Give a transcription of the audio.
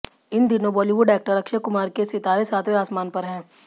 इन दिनों Bollywood actor Akshay Kumar के सितारे सातवें आसमान पर हैं